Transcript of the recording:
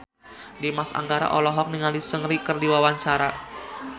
Dimas Anggara olohok ningali Seungri keur diwawancara